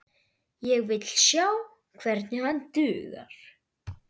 Ég vil sjá hvernig hann dugar!